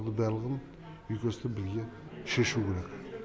барлығын екі басты бізге шешу керек